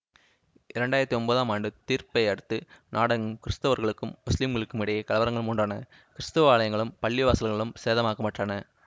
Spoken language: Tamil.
இரண்டு ஆயிரத்தி ஒன்பதாம் ஆண்டு தீர்ப்பை அடுத்து நாடெங்கும் கிறித்தவர்களுக்கும் முசுலிம்களுக்கும் இடையே கலவரங்கள் முண்டான கிறித்தவ ஆலயங்களும் பள்ளிவாசல்களும் சேதமாக்கப்பட்டன